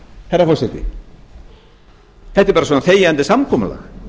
herra forseti þetta er bara svona þegjandi samkomulag